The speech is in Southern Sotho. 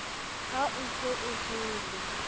ha o se o jele